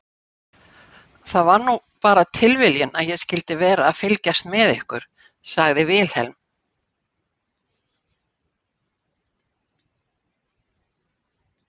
Það var nú bara tilviljun að ég skyldi vera að fylgjast með ykkur, sagði Vilhelm.